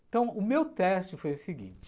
Então, o meu teste foi o seguinte,